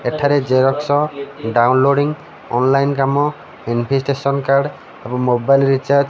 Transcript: ଏଠାରେ xerox downloading online କାମ invitation card ଏବଂ ମୋବାଇଲ ରିଚାର୍ଜ --